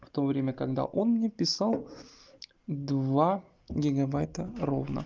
в то время когда он мне писал два гигабайта ровно